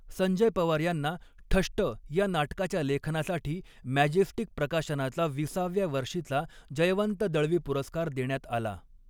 संजय पवार यांना ठष्ट या नाटकाच्या लेखनासाठी मॅजेस्टिक प्रकाशनाचा विसाव्या वर्षीचा जयवंत दळवी पुरस्कार देण्यात आला.